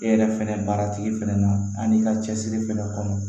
E yɛrɛ fɛnɛ baara tigi fɛnɛ na ani ka cɛsiri fɛnɛ kɔnɔ